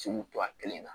Sugu to a kelen na